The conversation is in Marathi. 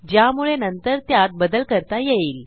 ज्यामुळे नंतर त्यात बदल करता येईल